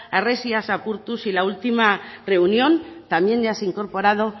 harresiak apurtuz y la última reunión también ya se ha incorporado